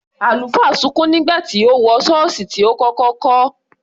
Àlùfáà sunkún nígbà tí ó wọ ṣọ́ọ̀ṣì tí ó kọ́kọ́ kọ́.